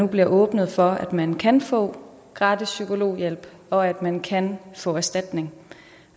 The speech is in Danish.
bliver åbnet for at man kan få gratis psykologhjælp og at man kan få erstatning